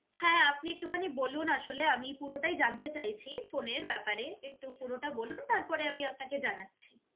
হ্যাঁ আপনি একটু খানি বলুন আসলে আমি পুরোটাই জানতে চাইছি ফোনের ব্যাপারে, একটু পুরোটা বলুন তারপরে আমি আপনাকে জানাচ্ছি